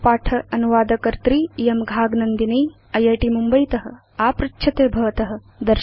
एतत् पाठ अनुवादकर्त्री इयं घाग नन्दिनी इत् मुम्बयीत आपृच्छते भवत